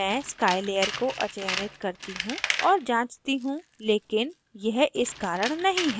मैं sky layer को अचयनित करती हूँ और जाँचती हूँ लेकिन यह इस कारण नहीं है